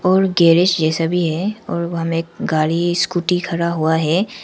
और गैरेज जैसा भी है और वहां में एक गाड़ी स्कूटी खड़ा हुआ है।